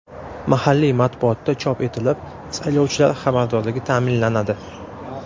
Mahalliy matbuotda chop etilib, saylovchilar xabardorligi ta’minlanadi.